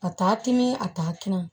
A taa timin a t'a